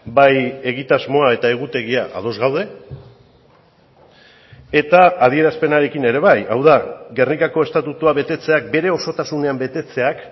bai egitasmoa eta egutegia ados gaude eta adierazpenarekin ere bai hau da gernikako estatutua betetzeak bere osotasunean betetzeak